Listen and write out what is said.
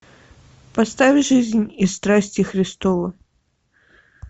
поставь жизнь и страсти христовы